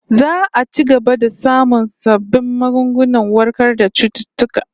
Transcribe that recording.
Za'a ci gaba da samun sabbin magungunan warkar da cututtuka